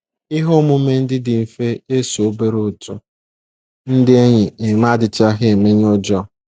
Ihe omume ndị dị mfe e so obere otu ndị enyi eme adịchaghị emenye ụjọ.